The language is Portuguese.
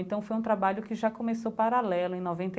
Então, foi um trabalho que já começou paralelo em